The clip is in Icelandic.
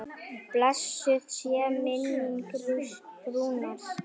Blessuð sé minning Rúnars.